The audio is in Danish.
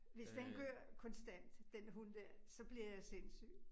Hvis den gør konstant den hund dér, så bliver jeg sindssyg